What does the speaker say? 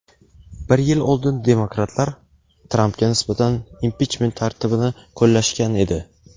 Bir yil oldin demokratlar Trampga nisbatan impichment tartibini qo‘llashgan edi.